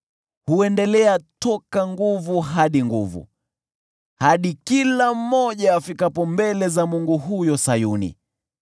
Huendelea toka nguvu hadi nguvu, hadi kila mmoja afikapo mbele za Mungu huko Sayuni.